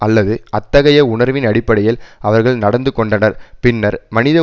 அல்லது அத்தகைய உணர்வின் அடிப்படையில் அவர்கள் நடந்து கொண்டனர் பின்னர் மனித